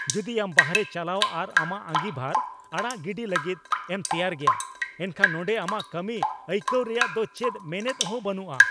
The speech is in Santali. ᱡᱩᱫᱤ ᱟᱢ ᱵᱟᱨᱦᱮ ᱪᱟᱞᱟᱣ ᱟᱨ ᱟᱢᱟᱜ ᱟᱸᱜᱤᱵᱷᱟᱨ ᱟᱲᱟᱜ ᱜᱤᱰᱤ ᱞᱟᱹᱜᱤᱫ ᱮᱢ ᱛᱮᱭᱟᱨ ᱜᱮᱭᱟ ᱮᱱᱠᱷᱟᱱ ᱱᱚᱸᱰᱮ ᱟᱢᱟᱜ ᱠᱟᱹᱢᱤ ᱟᱹᱭᱠᱟᱹᱣ ᱨᱮᱭᱟᱜ ᱫᱚ ᱪᱮᱫ ᱢᱮᱱᱮᱫ ᱦᱚᱸ ᱵᱟᱹᱱᱩᱜᱼᱟ ᱾